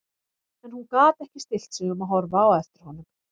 En hún gat ekki stillt sig um að horfa á eftir honum.